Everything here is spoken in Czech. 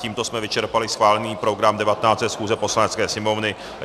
Tímto jsme vyčerpali schválený program 19. schůze Poslanecké sněmovny.